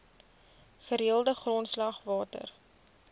gereelde grondslag water